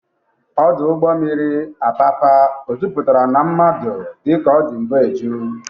Ọdụ ụgbọ mmiri Apapa o jupụtara na mmadụ dịka ọ dị mbụ eju.?